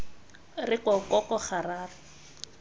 re ko ko ko gararo